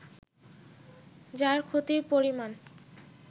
যার ক্ষতির পরিমাণ